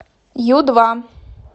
ю два